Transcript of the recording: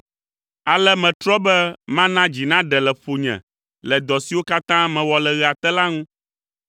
Ale metrɔ be mana dzi naɖe le ƒonye le dɔ siwo katã mewɔ le ɣea te la ŋu,